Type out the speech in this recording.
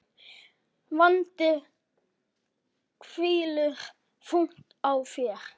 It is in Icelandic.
Vandi hvílir þungt á þér.